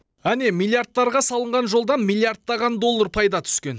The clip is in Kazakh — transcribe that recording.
әне миллиардтарға салынған жолдан миллиардтаған доллар пайда түскен